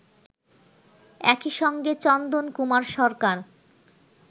একইসঙ্গে চন্দন কুমার সরকার